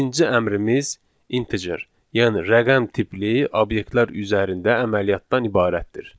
İkinci əmrimiz integer, yəni rəqəm tipli obyektlər üzərində əməliyyatdan ibarətdir.